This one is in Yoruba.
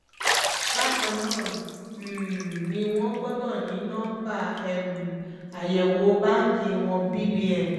bákan náà um ni wọ́n gbọ́dọ̀ ní nọmba um àyẹ̀wò báǹkì wọn bbn